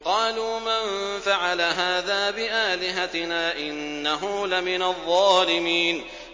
قَالُوا مَن فَعَلَ هَٰذَا بِآلِهَتِنَا إِنَّهُ لَمِنَ الظَّالِمِينَ